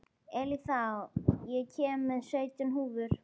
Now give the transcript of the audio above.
Eileiþía, ég kom með sautján húfur!